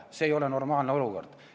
See ei ole normaalne olukord.